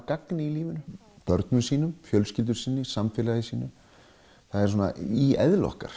gagni í lífinu börnum sínum fjölskyldu samfélagi það er í eðli okkar